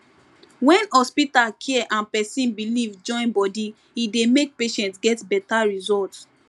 when hospital care and person belief join body e dey make patient get better result